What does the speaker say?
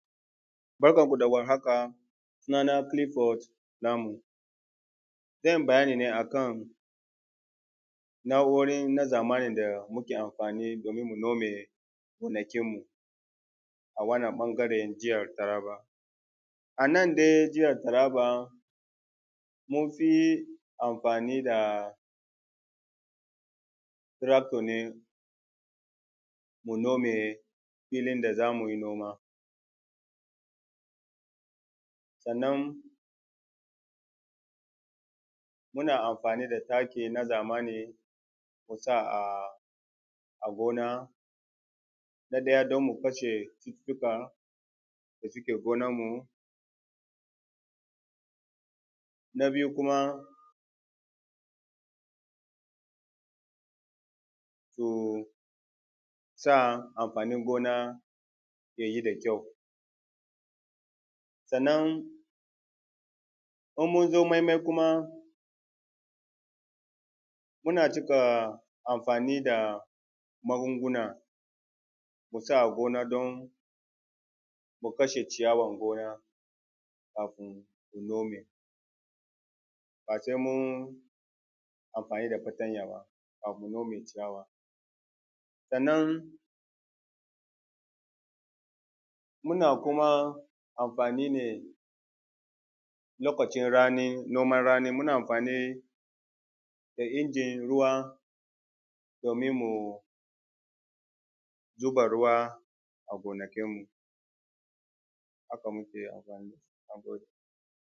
Barkanku da warhaka sunana Kilifod Namu zan yi bayani ne a kan na’uroin nan zamani da muke amfani domin nome gonakin mu, a wannan ɓangaren jiha Taraba a nan dai jiha Taraba muna yin amfani da tirakto ne mu nome inda za mu yi noma, sannan muna amfani da taki na zamani musa a gona na ɗaya don mu kashe cuta suke gonan mu. Na biyu kuma don mu sa amfanin gona ya yi da kyau sannan irin mun zo maimayi kuma muna cika amfani da magunguna mu sa a gona don mu kashe ciyarwar gona kafun mu zo mu yi base mun yi amfani da fatanya ba mu nome ciyawa. Sannan muna kuma amfani ne lokacin rani noman rani muna amfani da injin ruwa domin mu zuba ruwa a gonakin mu haka muke anfani.